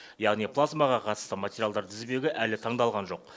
яғни плазмаға қатысты материалдар тізбегі әлі таңдалған жоқ